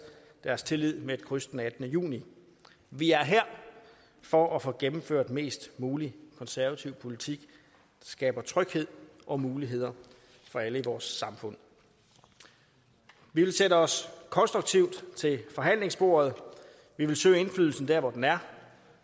deres tillid med et kryds den attende juni vi er her for at få gennemført mest mulig konservativ politik det skaber tryghed og muligheder for alle i vores samfund vi vil sætte os konstruktivt til forhandlingsbordet vi vil søge indflydelsen der hvor den er